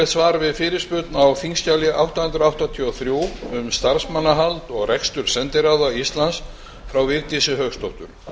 svar við fyrirspurn á þingskjali átta hundruð áttatíu og þrjú um starfsmannahald og rekstur sendiráða íslands frá vigdísi hauksdóttur